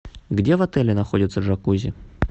где в отеле находится джакузи